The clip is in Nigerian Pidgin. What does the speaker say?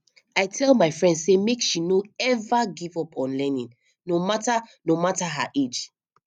i tell my friend sey make she no eva give up on learning no mata no mata her age